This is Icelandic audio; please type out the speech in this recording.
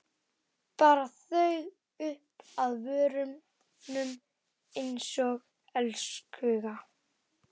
Bar þau upp að vörunum einsog elskhuga.